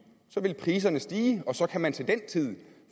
vil priserne stige og så kan man til den tid